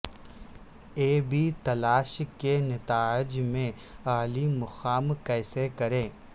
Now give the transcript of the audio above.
E B تلاش کے نتائج میں اعلی مقام کیسے کریں